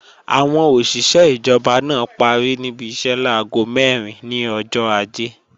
Àwọn òṣìṣé ìjọba náà parí níbi iṣẹ́ láago mẹ́rin ní ọjọ́ Ajé